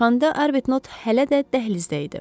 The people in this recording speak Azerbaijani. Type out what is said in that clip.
Çıxanda Arbutnot hələ də dəhlizdə idi.